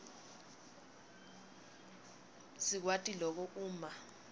sikwati loku uma